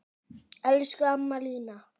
Elsku amma Lína.